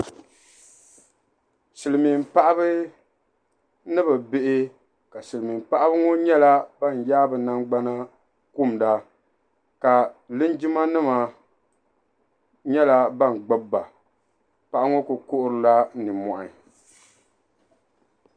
Silimiin paɣaba ni bihi ka Silimiin paɣaba ŋɔ nyɛ ban yaagi bɛ nangbana kumda ka linjima nima nyɛla ban gbibi ba paɣa ŋɔ kuli kuhirila ninmohi.